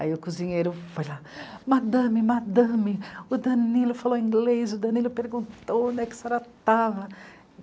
Aí o cozinheiro foi lá, madame, madame, o Danilo falou inglês, o Danilo perguntou onde é que a senhora estava.